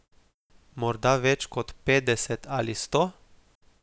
Morda več kot petdeset ali sto?